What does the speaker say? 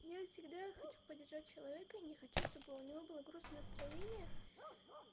я всегда хочу поддержать человека не хочу чтобы у него было грустное настроение